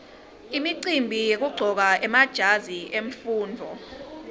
imicimbi yekuqcoka emajazi emfundvo